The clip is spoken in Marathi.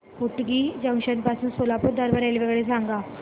होटगी जंक्शन पासून सोलापूर दरम्यान रेल्वेगाडी सांगा